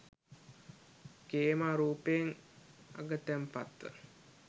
ඛේමා රූපයෙන් අගතැන්පත්ව